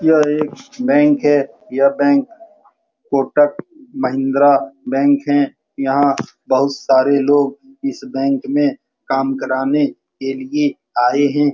यह एक बैंक है यह बैंक कोटक महिंद्रा बैंक है यहाँ बहुत सारे लोग इस बैंक में काम कराने के लिए आए हैं ।